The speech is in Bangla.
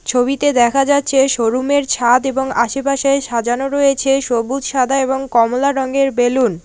ছবিতে দেখা যাচ্ছে শোরুম এর ছাদ এবং আশেপাশে সাজানো রয়েছে সবুজ সাদা এবং কমলা রঙের বেলুন ।